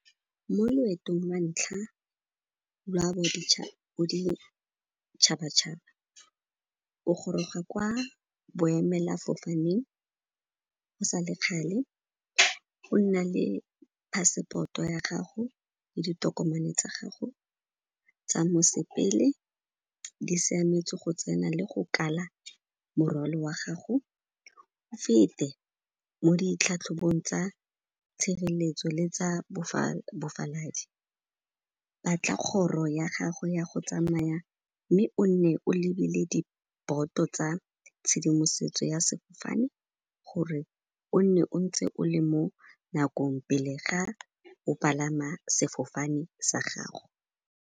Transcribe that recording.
Mo loetong lwa ntlha, lwa boditšhaba-tšhaba, o goroga kwa boemela-fofaneng go sa le kgale, o nna le passport-o ya gago le ditokomane tsa gago tsa mosepele di siametse go tsena le go kala morwalo wa gago. O fete mo ditlhatlhobong tsa tshireletso le tsa bofaladi. Batla kgoro ya gago ya go tsamaya, mme o nne o lebile diboto tsa tshedimosetso ya sefofane gore o nne o ntse o le mo nakong pele ga o palama sefofane sa gago.